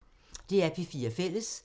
DR P4 Fælles